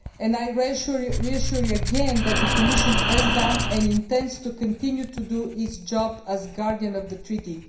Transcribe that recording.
I reassure you again that the Commission has done and intends to continue to do its job as guardian of the treaty.